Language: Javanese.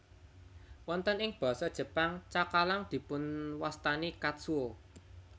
Wonten ing Basa Jepang cakalang dipunwastani katsuo